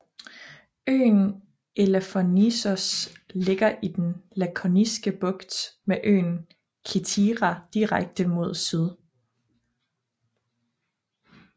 Øen Elafonissos ligger i den Lakoniske Bugt med øen Kithira direkte mod syd